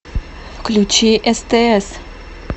включи стс